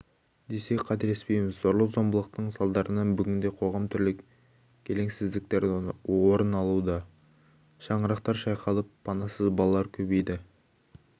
десек қателеспейміз зорлық-зомбылықтың салдарынан бүгінде қоғамда түрлі келеңсіздіктер орын алуда шаңырақтар шайқалып панасыз балалар көбейді